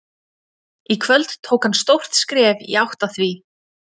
Í kvöld tók hann stórt skref í átt að því.